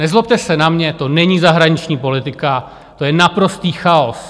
Nezlobte se na mě, to není zahraniční politika, to je naprostý chaos.